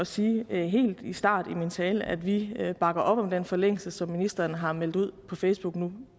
sige helt i starten af min tale at vi bakker op om den forlængelse som ministeren har meldt ud på facebook nu